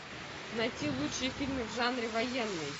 найти лучшие фильмы в жанре военный